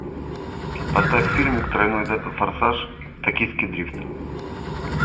поставь фильмик тройной форсаж токийский дрифт